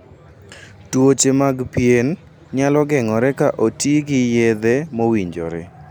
Tuoche mag pien nyalo geng'ore ka oti gi yedhe mowinjore.